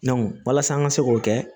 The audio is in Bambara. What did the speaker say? walasa an ka se k'o kɛ